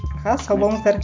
аха сау болыңыздар